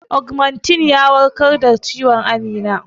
Ogmentin ya warkar da ciwon Amina.